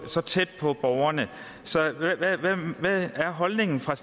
så tæt på borgerne hvad er holdningen fra